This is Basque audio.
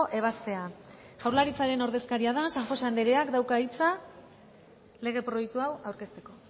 ebazpena jaurlaritzaren ordezkaria da san josé andreak dauka hitza lege proiektu hau aurkezteko